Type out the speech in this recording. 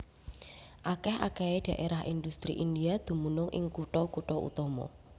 Akèh akèhé dhaérah indhustri India dumunung ing kutha kutha utama